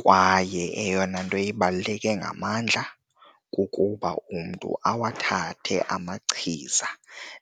kwaye eyona nto ibaluleke ngamandla kukuba umntu awathathe amachiza